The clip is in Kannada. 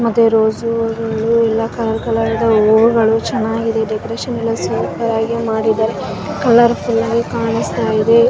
ಮತ್ತೆ ರೋಸ್ ಹೂವುಗಳು ಎಲ್ಲ ಕಲರ್ ಕಲರ್ ಹೂವುಗಳು ಎಲ್ಲ ಚೆನ್ನಾಗಿದೆ ಡೆಕೋರೇಷನ್ ಎಲ್ಲ ಸೂಪರ್ ಆಗಿ ಮಾಡಿದ್ದಾರೆ ಕಲರ್ಫುಲ್ ಆಗಿ ಕಾಣಿಸ್ತಾ ಇದೆ .